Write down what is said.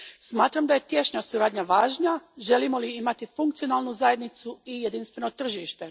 Smatram da je tješnja suradnja važna želimo li imati funkcionalnu zajednicu i jedinstveno tržište.